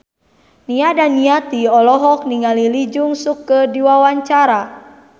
Nia Daniati olohok ningali Lee Jeong Suk keur diwawancara